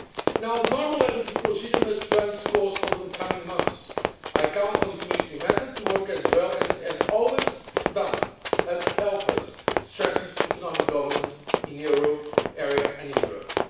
Now the normal legislative procedure must run its course over the coming months. I count on the Community method to work as well as it has always done, and help us strengthen economic governance in the euro area and in Europe.